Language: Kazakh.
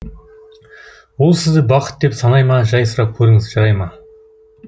ол сізді бақыт деп санай ма жай сұрап көріңіз жарай ма